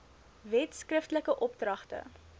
wet skriftelike opdragte